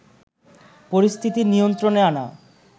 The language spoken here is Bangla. পরিস্থিতি নিয়ন্ত্রণে আনা